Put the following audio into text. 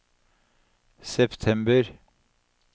september